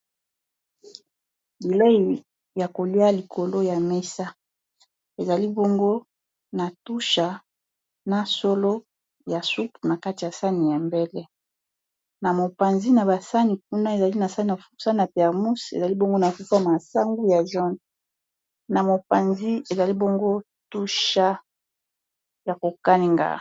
biloko ya kolia , likolo ya mesa ezali bongo na tusha na solo ya sup na kati ya sani ya mbele na mopanzi na basani kuna ezali na sani ya foksa na termus ezali bongo na peforme asangu ya jon na mopanzi ezali boongo tucha ya kokanenga